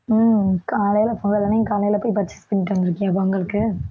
உம் காலையில பொங்கல் அன்னைக்கு காலையில போயி purchase பண்ணிட்டு வந்திருக்கியா பொங்கலுக்கு